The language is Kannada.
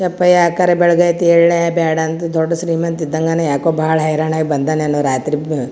ಯಪ್ಪಾ ಯಾಕಾರ ಬೆಳಗಾಯತ್ ಎಳೆ ಬ್ಯಾಡ ಅಂದು ದೊಡ್ಡ ಶ್ರೀಮಂತ್ ಇದಂಗನ್ ಯಾಕೋ ಬಹಳ ಹೈರಾಣಾಗಿ ಬಂದ್ದಾನೇನೋ ರಾತ್ರಿ ಭೂ --